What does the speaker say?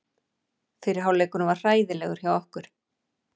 Fyrri hálfleikurinn var hræðilegur hjá okkur.